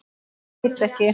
Ég veit ekki?